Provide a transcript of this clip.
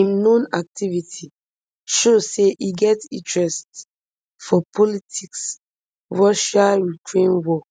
im known activity show say e get interest for politics russiaukraine war